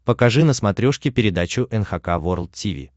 покажи на смотрешке передачу эн эйч кей волд ти ви